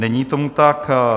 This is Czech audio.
Není tomu tak.